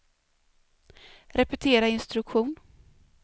repetera instruktion